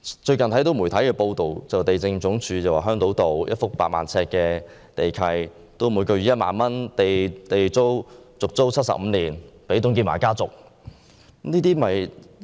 最近有媒體報道，地政總署將香島道一幅8萬平方呎的土地，以每月1萬元的地租續租予董建華家族75年。